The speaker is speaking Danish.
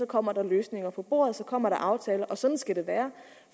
kommer der løsninger på bordet så kommer der aftaler og sådan skal det være